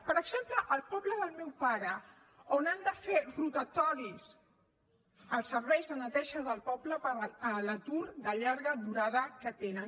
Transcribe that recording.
per exemple al poble del meu pare on han de fer rotatoris els serveis de neteja del poble per l’atur de llarga durada que tenen